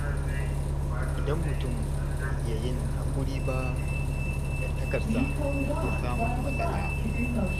Idan mutum bai iya yin haƙuri ba, dangantakarsa na iya samun matsala.